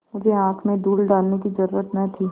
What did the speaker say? मुझे आँख में धूल डालने की जरुरत न थी